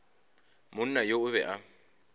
monna yo o be a